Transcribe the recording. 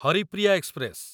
Haripriya express